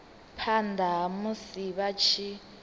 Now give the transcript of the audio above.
phana ha musi vha tshi